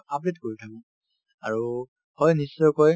update কৰি থাকো আৰু হয় নিশ্চয়কৈ